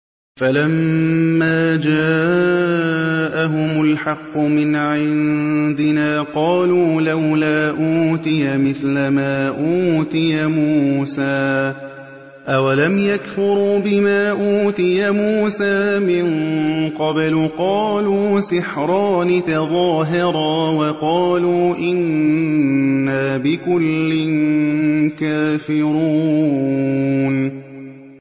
فَلَمَّا جَاءَهُمُ الْحَقُّ مِنْ عِندِنَا قَالُوا لَوْلَا أُوتِيَ مِثْلَ مَا أُوتِيَ مُوسَىٰ ۚ أَوَلَمْ يَكْفُرُوا بِمَا أُوتِيَ مُوسَىٰ مِن قَبْلُ ۖ قَالُوا سِحْرَانِ تَظَاهَرَا وَقَالُوا إِنَّا بِكُلٍّ كَافِرُونَ